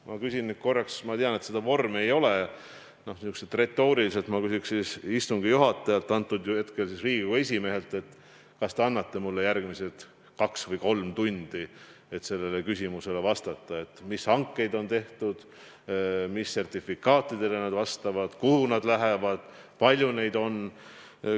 Ma küsin nüüd korraks – ma tean, et sellist vormi ei ole, nii et küsin retooriliselt – istungi juhatajalt, praegusel juhul Riigikogu esimehelt, kas ta annab mulle järgmised kaks või kolm tundi, et vastata sellele küsimusele ja rääkida, mis hankeid on tehtud, mis sertifikaatidele nad vastavad, kuhu nad lähevad, palju neid on.